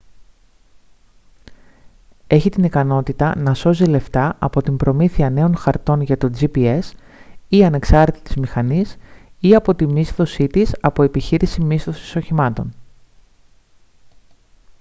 έχει την ικανότητα να σώζει λεφτά από την προμήθεια νέων χαρτών για το gps ή ανεξάρτητης μηχανής ή από τη μίσθωσή της από επιχείρηση μίσθωσης οχημάτων